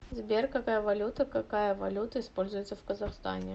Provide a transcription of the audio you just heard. сбер какая валюта какая валюта используется в казахстане